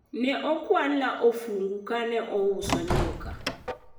ne okwalna ofungu kane auso nyuka